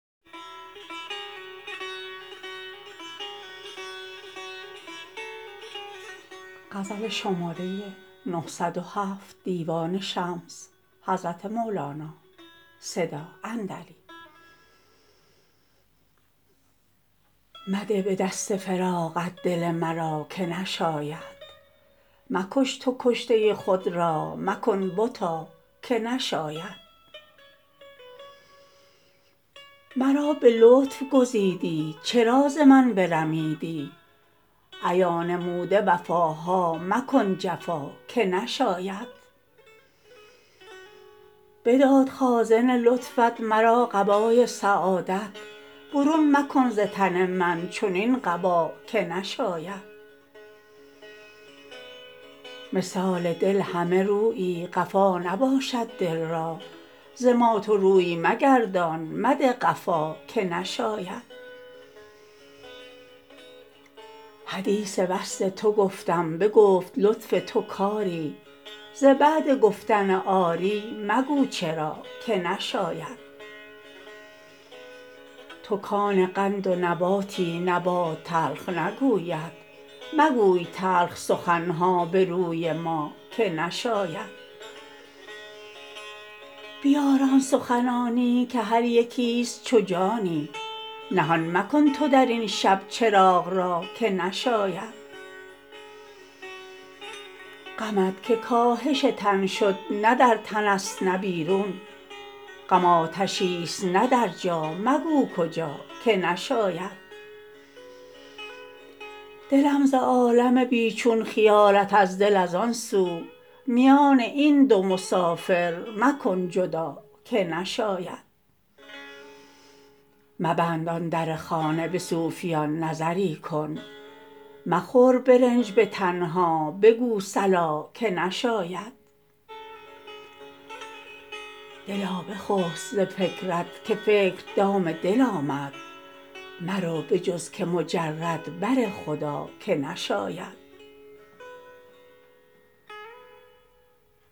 مده به دست فراقت دل مرا که نشاید مکش تو کشته خود را مکن بتا که نشاید مرا به لطف گزیدی چرا ز من برمیدی ایا نموده وفاها مکن جفا که نشاید بداد خازن لطفت مرا قبای سعادت برون مکن ز تن من چنین قبا که نشاید مثال دل همه رویی قفا نباشد دل را ز ما تو روی مگردان مده قفا که نشاید حدیث وصل تو گفتم بگفت لطف تو کری ز بعد گفتن آری مگو چرا که نشاید تو کان قند و نباتی نبات تلخ نگوید مگوی تلخ سخن ها به روی ما که نشاید بیار آن سخنانی که هر یکیست چو جانی نهان مکن تو در این شب چراغ را که نشاید غمت که کاهش تن شد نه در تنست نه بیرون غم آتشیست نه در جا مگو کجا که نشاید دلم ز عالم بی چون خیالت از دل از آن سو میان این دو مسافر مکن جدا که نشاید مبند آن در خانه به صوفیان نظری کن مخور به رنج به تنها بگو صلا که نشاید دلا بخسب ز فکرت که فکر دام دل آمد مرو به جز که مجرد بر خدا که نشاید